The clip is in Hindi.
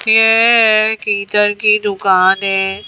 ये कीतर की दुकान है।